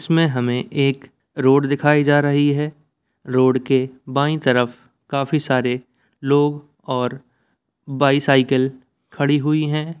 इसमे हमे एक रोड दिखाई जा रही है रोड के बाई तरफ काफी सारे लोग और बाइसाइकिल खड़ी हुई है।